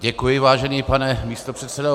Děkuji, vážený pane místopředsedo.